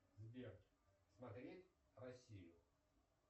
сбер смотреть россию